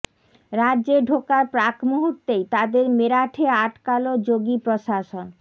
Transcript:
রাজ্যে ঢোকার প্রাক মুহূর্তেই তাঁদের মেরাঠে আটকাল যোগী প্রশাসন